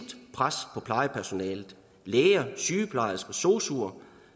pres på plejepersonalet læger sygeplejersker sosuer